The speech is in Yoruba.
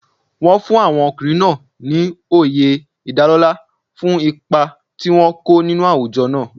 Wọ́n fún àwọn ọkùnrin náà ní oyè ìdálọ́lá fún ipa tí wọ́n kó ní àwùjọ náà.